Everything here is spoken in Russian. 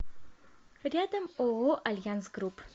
рядом ооо альянс групп